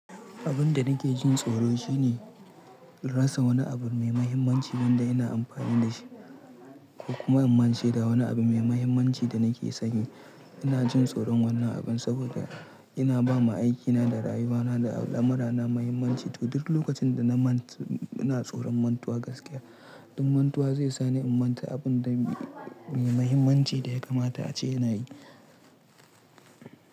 Abin da nake jin tsoro shine rasa wani abu mai mahimmanci wanda ina amfani da shi ko kuma in mance da wani abu mai mahimmanci da nake sanyi. Ina jin tsoron wannan abin saboda ina ba ma aikina da rayuwana da lamurana mahimmanci. To duk lokacin da na manta, ina tsoron mantuwa gaskiya. Dan mantuwa zai sa ni in manta abin da mai mahimmanci da ya kamata ace ina yi.